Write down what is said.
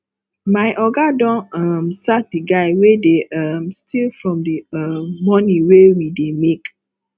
my oga don um sack the guy wey dey um steal from the um money wey we dey make